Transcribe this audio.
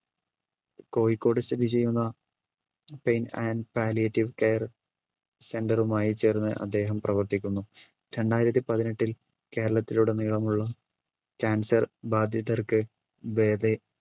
കോഴിക്കോട് സ്ഥിതി ചെയ്യുന്ന pain and palliative care center റുമായി ചേർന്ന് അദ്ദേഹം പ്രവർത്തിക്കുന്നു. രണ്ടായിരത്തി പതിനെട്ടിൽ കേരളത്തിൽ ഉടനീളമുള്ള cancer ബാധിതർക്ക്